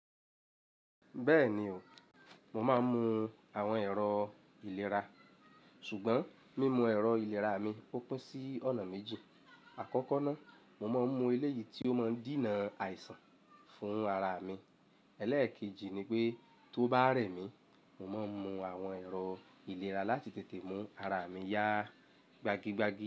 Bẹ́ẹ̀ni o, mo máa ń mu àwọn ẹ̀rọ ìlera, ṣùgbọ́n mímu ẹ̀rọ ìlera mi ò pín sí ọ̀nà méjì. Àkọ́kọ́ náà, mo máa ń mu eléyìí tí ó máa ń dinà àìsàn fún ara mi. Élékèjì ni pé tó bá rẹ̀ mí, mo máa ń mu àwọn ẹ̀rọ ìlera láti tètè mú ara mi yá gbagigbagi.